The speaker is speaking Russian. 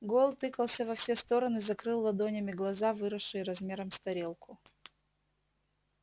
гойл тыкался во все стороны закрыл ладонями глаза выросшие размером с тарелку